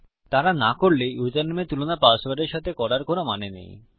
যদি তারা না করে তাহলে ইউসারনেম এর তুলনা পাসওয়ার্ড এর সাথে করার কোনো মানে নেই